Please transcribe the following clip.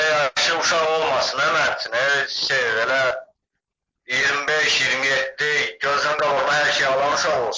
Belə yaşı uşaq olmasın hə mənim üçün, elə şey, elə 25, 27, gözünün qabağında hər şeyi eləyən olsun.